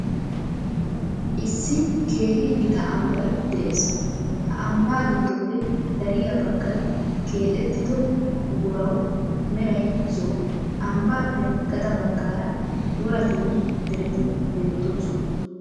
Issi keehi gita ambbay de'ees. He ambbaa giddoppe dariya baggay keexeettido qorqqoruw meray zo'o. Ambbaappe gaxa baggaara woratinne dereti beettoosona.